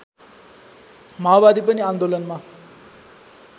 माओवादी पनि आन्दोलनमा